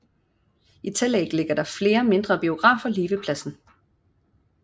I tillæg ligger der flere mindre biografer lige ved pladsen